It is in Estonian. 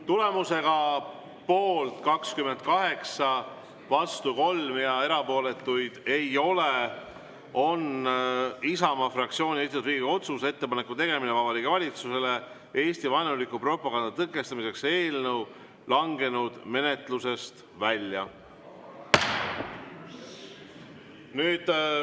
Tulemusega poolt 28, vastu 3 ja erapooletuid ei ole, on Isamaa fraktsiooni esitatud Riigikogu otsuse "Ettepaneku tegemine Vabariigi Valitsusele Eesti-vaenuliku propaganda tõkestamiseks" eelnõu langenud menetlusest välja.